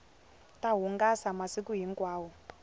ta hungasa masiku hinkwawo